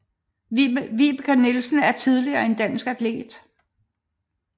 Vibeke Nielsen er tidligere en dansk atlet